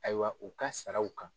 Ayiwa u ka saraw kan